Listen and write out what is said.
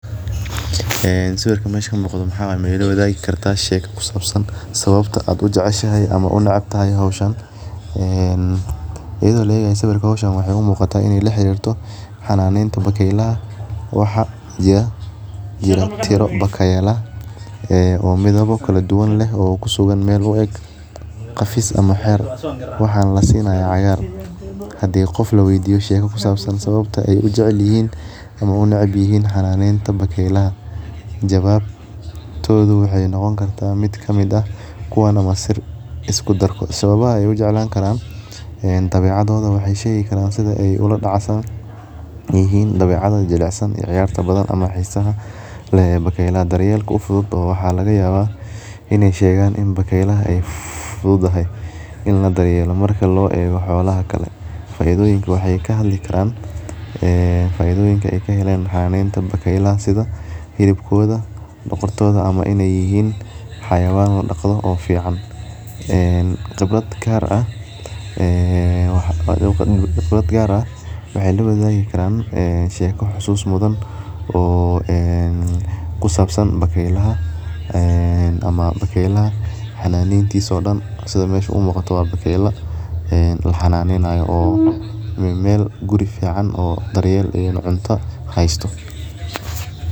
Ee sawirkan mesha kamuqda maxaa waye maila washagi karta sheka kusabsan sawabta aad ujeceshahay ama aad u necebtahay hoshan iyada oo laegayo hoshan waxee u muqataa in ee toho xananenta bakeylada waxaa jira tiro bakeyla ee midabo kala duwan leh oo meel u eg afis ama xer waxaa lasinaya hadii qof laweydiyo sawabta ee u jecelyihin ama ee u necbyihin xananeta bakeylada jawabtodha waxee niqoni karta mid kamiid ah iskudarkodha sawbaha waxee shegi karana sitha ee ola dacsadhen ee yihin dabecada jlicsan iyo ciyarta badan ama xisaha leh ee bakeylaha mida ufudud waxaa laga yawa in ee shegan in bakeylada ee fududahay, faidoyiinka ee ka helan xananeta bakeylada waxaa kamiid ah sitha hilibkoda ama in ee yihinxayawan ladaqdo oo fican ee qibrad gar ah ee waxa qibraad gar ah waxe lawadhagi kran sheko xasus mudan oo ee kusabsan bakeylaha ee ama bakeylaha xananetisa oo dan sitha mesha umuqato maxaa waye bakeyla laxananeynayo oo meel guri fican oo daryel iyo cunta hasto.